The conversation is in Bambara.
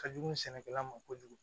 Ka jugu sɛnɛkɛla ma kojugu